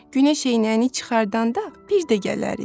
Günəş eynəyini çıxardanda bir də gələrik.